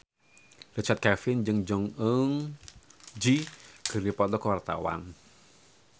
Richard Kevin jeung Jong Eun Ji keur dipoto ku wartawan